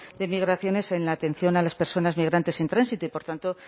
de migraciones en la atención a las personas migrantes en tránsito y por tanto